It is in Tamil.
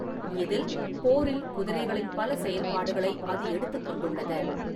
இதில், போரில் குதிரைகளின் பல செயல்பாடுகளை அது எடுத்துக் கொண்டுள்ளது.